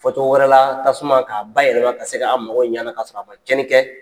Fɔcogo wɛrɛ la tasuma k'a bayɛlɛma ka se k'an mago ɲɛ a la k'a sɔrɔ a man tiɲɛnli kɛ